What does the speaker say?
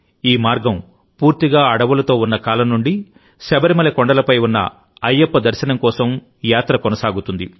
ఈ మార్గం పూర్తిగా అడవులతో ఉన్న కాలం నుండి శబరిమల కొండలపై ఉన్న అయ్యప్ప దర్శనం కోసం ఈ యాత్ర కొనసాగుతోంది